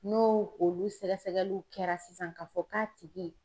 No olu sɛgɛsɛgɛliw kɛra sisan k'a fɔ k'a tigi